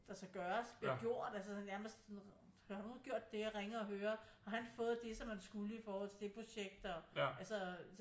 Der skal gøres bliver gjort altså sådan nærmest sådan noget har du nu gjort det ringe og høre har han fået det som han skulle i forhold til det projekt altså